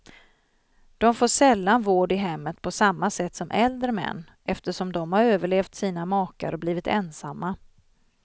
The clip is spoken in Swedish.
De får sällan vård i hemmet på samma sätt som äldre män, eftersom de har överlevt sina makar och blivit ensamma.